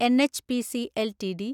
NHPC LTD